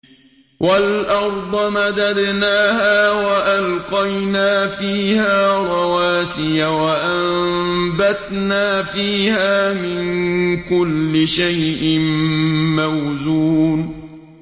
وَالْأَرْضَ مَدَدْنَاهَا وَأَلْقَيْنَا فِيهَا رَوَاسِيَ وَأَنبَتْنَا فِيهَا مِن كُلِّ شَيْءٍ مَّوْزُونٍ